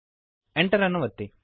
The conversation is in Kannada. Enter ಅನ್ನು ಒತ್ತಿರಿ